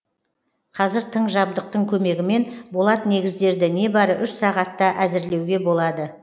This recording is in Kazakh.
қазір тың жабдықтың көмегімен болат негіздерді небары үш сағатта әзірлеуге болады